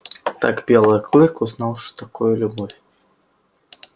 так белый клык узнал что такое любовь